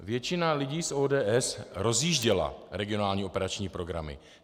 Většina lidí z ODS rozjížděla regionální operační programy.